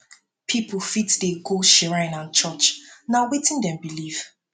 pipo fit dey go shrine and church na wetin dem believe